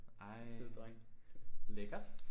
Ej lækkert